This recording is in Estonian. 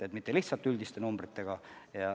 Ei piirduta lihtsalt üldiste numbritega.